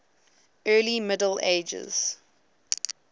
early middle ages